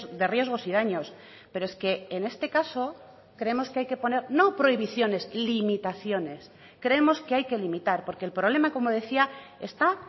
de riesgos y daños pero es que en este caso creemos que hay que poner no prohibiciones limitaciones creemos que hay que limitar porque el problema como decía está